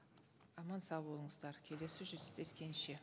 аман сау болыңыздар келесі жүздескенше